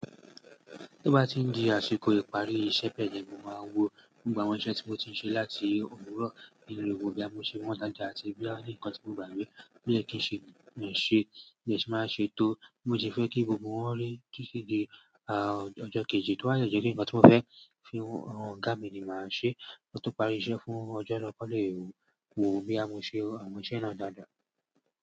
Tí ó bá ti ń di àsìkò ìparí iṣẹ́ pẹ̀lú, mo máa wo gbogbo àwọn iṣẹ́ tí mo ti ń ṣe láti òwúrọ̀ nínú rògbòdíá, mo ṣe wọ́n dáadáa àti bí àwọn nìkan tí mo gbà gbé. Mi o kí n ṣe òṣì, lè ṣì máa ṣe tó. Mo sì fẹ́ kí gbogbo wọn ri titi di ọjọ́ kejì, tó ba de je pe nǹkan tí mo fẹ́ fi han ọ̀gá mi ni màá ṣe. Ó tó parí iṣẹ́ fún ọjọ́ náà kí won lè wo boya mo ṣe àwọn iṣẹ́ náà dáadáa.